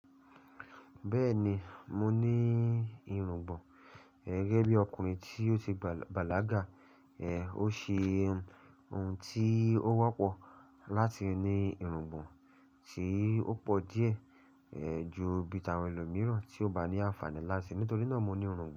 Bẹ́ẹ̀ni, mo ní irùngbọ̀n. Gẹ́gẹ́ bí ọkùnrin tí ó ti bàlágà, ó ṣe ohun tí ó wọ́pọ̀ láti ní irùngbọ̀n tí ó pọ̀ díẹ̀ ju bi ìta àwọn ẹlòmíràn tí ó bá ní àǹfààní láti ni. Nítorí náà mo ní irùngbọ̀n.